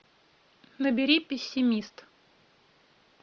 набери пессимист